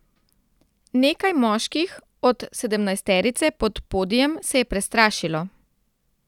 Nekaj moških od sedemnajsterice pod podijem se je prestrašilo.